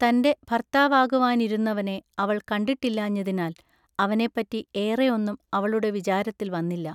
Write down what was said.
തന്റെ ഭൎത്താവാകുവാനിരുന്നവനെ അവൾ കണ്ടിട്ടില്ലാഞ്ഞതിനാൽ അവനെപറ്റി ഏറെ ഒന്നും അവളുടെ വിചാരത്തിൽ വന്നില്ല.